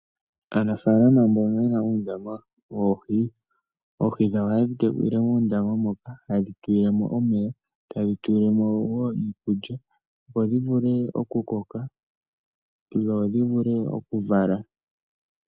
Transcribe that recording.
Aanafalama mbono yena uundama woohi, oohi dhawo ohayedhi tekulile muundama moka, hayedhi tulilemo omeya, tayedhi tulilemo wo iikulya, opo dhivule okukoka, dho dhivule okuvala.